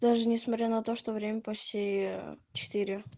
даже несмотря на то что время после четыре